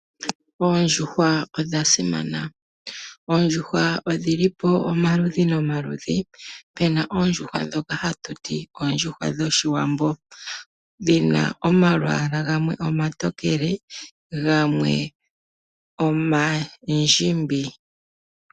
Oondjuhwa odha simana. Oondjuhwa odhi li pamaludhi nomaludhi. Pu na oondjuhwa ndhoka hatu ti oondjuhwa dhOshiwambo dhi na omalwaala gamwe omatokele gamwe omandjimbi.